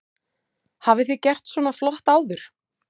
Hafi þið gert svona flott áður?